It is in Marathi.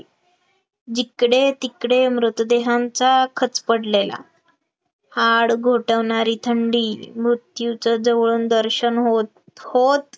जिकडे तिकडे मृतदेहांचा खच पडलेला, आडघोटवणारी थंडी मृत्यूचं जवळून दर्शन होत होत